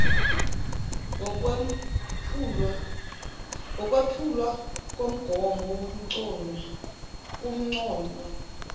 ngokwephulwa komgomo kunconywa